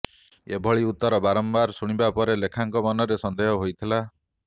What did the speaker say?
ଏଭଳି ଉତ୍ତର ବାରମ୍ବାର ଶୁଣିବା ପରେ ଲେଖାଙ୍କ ମନରେ ସନ୍ଦେହ ହୋଇଥିଲା